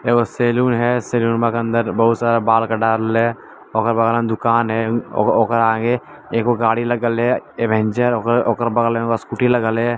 एक सलून है सलुनवा के अंदर बहुत सारा बाल दुकान हैऔकरा आगे एगो गाड़ी लगल है अवेंजर ओकर ओकर बगल में स्कूटी लगल है।